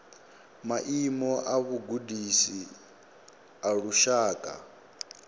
maimo a vhugudisi a lushaka